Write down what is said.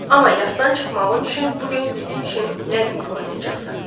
Amma yasdan çıxmağın üçün bu gün bizim üçün Ləzgi oynayacaqsan.